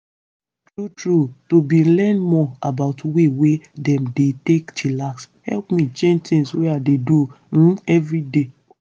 true true to bin learn more about way wey dem dey take dey chillax hep me change tins wey i dey do um everyday.